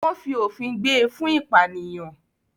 wọ́n “fi òfin gbé” e fún “ìpànìyàn”.